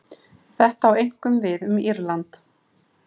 Þetta á einkum við um Írland.